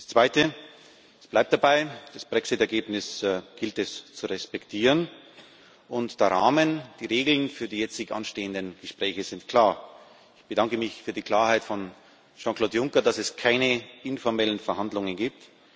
Das Zweite Es bleibt dabei Das Brexit Ergebnis gilt es zu respektieren, und der Rahmen, die Regeln für die jetzt anstehenden Gespräche sind klar. Ich bedanke mich für die Klarheit von Jean Claude Juncker, dass es keine informellen Verhandlungen gibt.